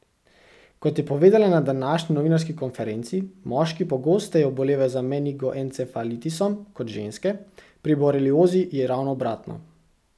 Kot je povedala na današnji novinarski konferenci, moški pogosteje obolevajo za menigoencefalitisom kot ženske, pri boreliozi je ravno obratno.